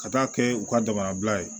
Ka taa kɛ u ka damabila ye